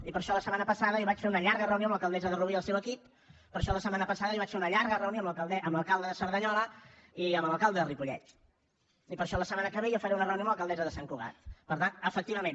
i per això la setmana passada jo vaig fer una llarga reunió amb l’alcaldessa de rubí i el seu equip per això la setmana passada jo vaig fer una llarga reunió amb l’alcalde de cerdanyola i amb l’alcalde de ripollet i per això la setmana que ve jo faré una reunió amb l’alcaldessa de sant cugat per tant efectivament